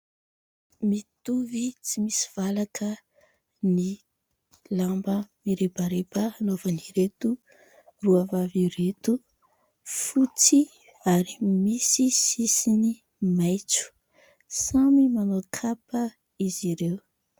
Mitovy tsy misy valaka ny lamba mirebareba anaovan'ireto roa vavy ireto. Fotsy ary misy sisiny maitso, samy manao kapa izy ireo.